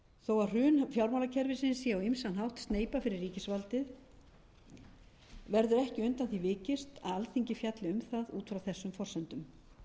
þó að hrun fjármálakerfisins sé á ýmsan hátt sneypa fyrir verður ekki undan því vikist að alþingi fjalli um það út frá þessum forsendum